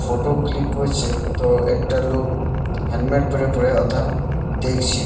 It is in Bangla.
ফটো ক্লিক করছে তো একটা লোক হেলমেট পরে পরে হোতা দেখছে।